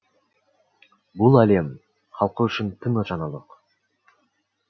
бұл әлем халқы үшін тың жаңалық